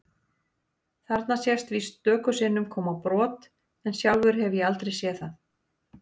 Þarna sést víst stöku sinnum koma brot en sjálfur hef ég aldrei séð það.